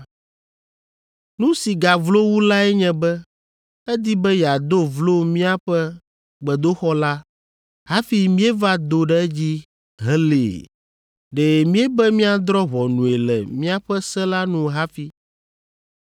Nu si gavlo wu lae nye be edi be yeado vlo míaƒe gbedoxɔ la hafi míeva do ɖe edzi helée. Ɖe míebe míadrɔ̃ ʋɔnue le míaƒe se la nu hafi.